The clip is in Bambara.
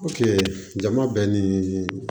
jama bɛ ni